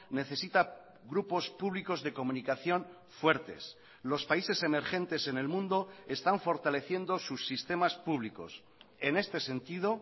necesita grupos públicos de comunicación fuertes los países emergentes en el mundo están fortaleciendo sus sistemas públicos en este sentido